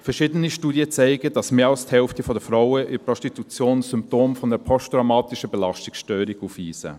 Verschiedene Studien zeigen, dass mehr als die Hälfte der Frauen in der Prostitution Symptome einer posttraumatischen Belastungsstörung aufweisen.